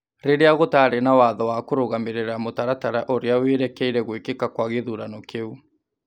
rĩrĩa gũtaarĩ na watho wa kũrũgamĩrĩra mũtaratara ũrĩa wĩrekeire gwĩkĩka kwa gĩthurano kĩu.